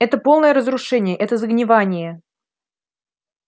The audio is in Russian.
это полное разрушение это загнивание